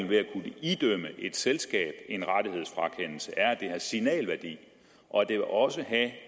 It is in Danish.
ved at kunne idømme et selskab en rettighedsfrakendelse er at det har signalværdi og det vil også have